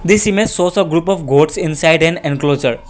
this image shows a group of goats inside an encloser.